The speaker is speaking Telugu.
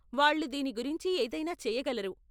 వాళ్ళు దీని గురించి ఏదైనా చేయగలరు .